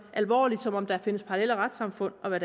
alvorligt som om der findes parallelle retssamfund og hvad